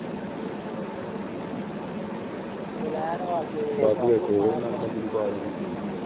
ਤੇ ਰਹਿਣ ਵਾਸਤੇ .